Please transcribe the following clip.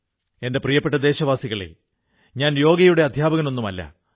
എന്റെ പ്രിയപ്പെട്ട ദേശവാസികളേ ഞാൻ യോഗയുടെ അധ്യാപകനൊന്നുമല്ല